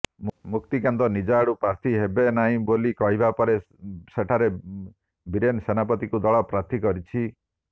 ମୁକ୍ତିକାନ୍ତ ନିଜ ଆଡ଼ୁ ପ୍ରାର୍ଥୀ ହେବେନାହିଁ ବୋଲି କହିବା ପରେ ସେଠାରେ ବୀରେନ ସେନାପତିଙ୍କୁ ଦଳ ପ୍ରାର୍ଥୀ କରିଛି